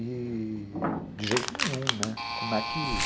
E de jeito nenhum, né? como é que